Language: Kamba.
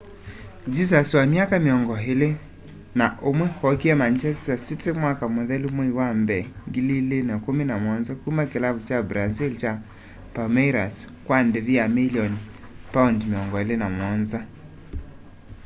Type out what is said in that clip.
jesus wa myaka mĩongo ĩlĩ na ũmwe ookie manchester city mwaka mũthelu mwai wa mbee 2017 kuma kĩlavu kya brazil kya palmeiras kwa ndĩvi ya milioni £27